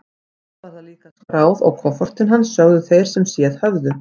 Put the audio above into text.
Svo var það líka skráð á kofortin hans, sögðu þeir sem séð höfðu.